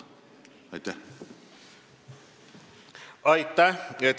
Aitäh!